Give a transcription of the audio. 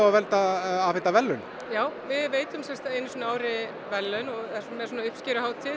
á að afhenda verðlaun já við veitum einu sinni á ári verðlaun erum með uppskeruhátíð